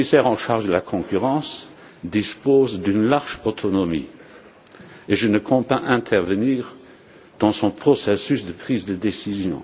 La commissaire en charge de la concurrence dispose d'une large autonomie et je ne compte pas intervenir dans son processus de prise de décision.